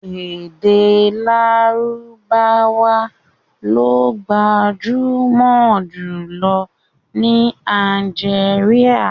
Èdè Lárúbáwá lo gbajúmọ̀ jùlọ ní Algeria.